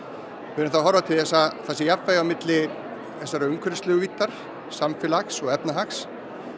við erum þá að horfa til þess að það sé jafnvægi á milli þessarar umhverfislegu víddar samfélags og efnahags